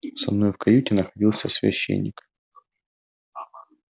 со мной в каюте находился священник